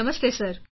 Namaste sir